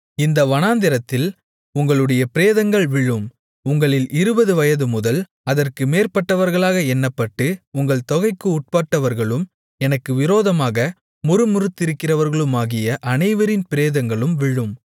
இந்த வனாந்திரத்தில் உங்களுடைய பிரேதங்கள் விழும் உங்களில் இருபது வயது முதல் அதற்கு மேற்பட்டவர்களாக எண்ணப்பட்டு உங்கள் தொகைக்கு உட்பட்டவர்களும் எனக்கு விரோதமாக முறுமுறுத்திருக்கிறவர்களுமாகிய அனைவரின் பிரேதங்களும் விழும்